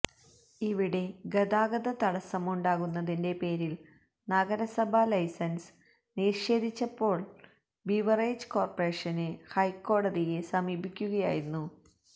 ഇവിടെ ഗതാഗത തടസ്സമുണ്ടാകുന്നതിന്റെ പേരില് നഗരസഭ ലൈസന്സ് നിഷേധിച്ചപ്പോള് ബവ്റിജസ് കോര്പറേഷന് ഹൈക്കോടതിയെ സമീപിക്കുകയായിരുന്നു